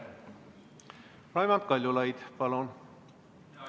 Raimond Kaljulaid, palun!